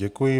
Děkuji.